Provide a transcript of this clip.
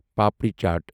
papri چاٹ